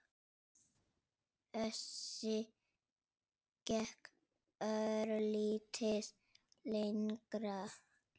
Össur gekk örlítið lengra.